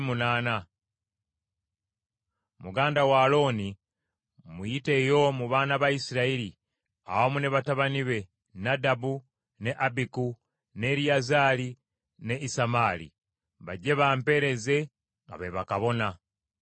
“Muganda wo Alooni muyiteyo mu baana ba Isirayiri, awamu ne batabani be: Nadabu, ne Abiku, ne Eriyazaali, ne Isamaali, bajje bampeereze nga be bakabona.